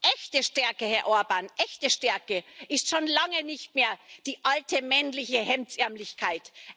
Echte Stärke, Herr Orbán, echte Stärke ist schon lange nicht mehr die alte männliche Hemdsärmeligkeit.